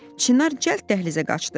Çinar cəld dəhlizə qaçdı.